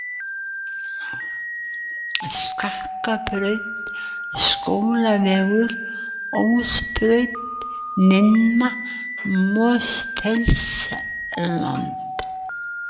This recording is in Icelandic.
Sakksbraut, Skólavegur, Ósbraut, Minna-Mosfellsland